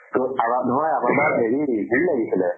ত আগত ধৰা আগৰ বাৰত হেৰি হেৰি লাগিছিলে